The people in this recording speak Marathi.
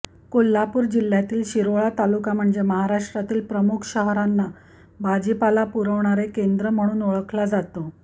कोल्हापूर जिल्ह्यातील शिरोळ तालुका म्हणजे महाराष्ट्रातील प्रमुख शहरांना भाजीपाला पुरवणारे केंद्र म्हणून ओळखला जातो